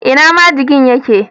Ina majigin ye ke?